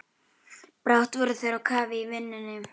Brátt voru þeir á kafi í vinnunni.